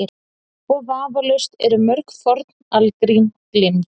Og vafalaust eru mörg forn algrím gleymd.